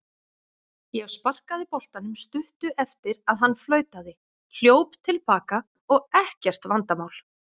Ég sparkaði boltanum stuttu eftir að hann flautaði, hljóp til baka og ekkert vandamál.